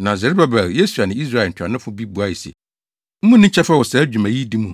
Na Serubabel, Yesua ne Israel ntuanofo bi buae se, “Munni kyɛfa wɔ saa dwuma yi di mu,